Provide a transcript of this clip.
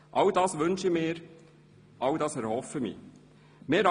All dies wünsche und erhoffe ich mir.